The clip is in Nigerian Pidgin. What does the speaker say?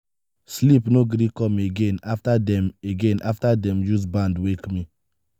sleep no gree come again after dem again after dem use band wake me.